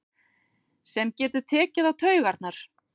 Sem getur tekið á taugarnar.